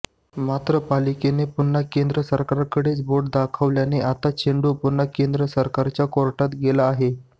मात्र पालिकेनं पुन्हा केंद्र सरकारकडेच बोट दाखवल्यानं आता चेंडू पुन्हा केंद्र सरकारच्या कोर्टात गेला आहे